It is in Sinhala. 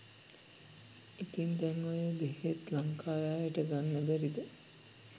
ඉතින් දැන් ඔය බේත් ලංකාවේ අයට ගන්න බැරිද .?